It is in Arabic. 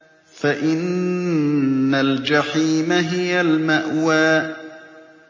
فَإِنَّ الْجَحِيمَ هِيَ الْمَأْوَىٰ